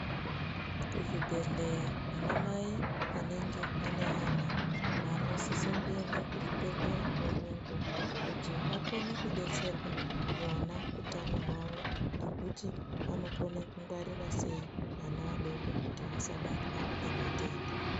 Kuhlepelela vanamai anenge anenga anosesenda kuchiphelenga nguwalangu kuti wakone kubetselwa. Wona utano hwawo ne kuti wanokona kungwarira sei. Wana wadoko kuti wasabatwa nematenda